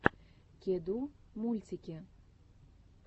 кеду мультики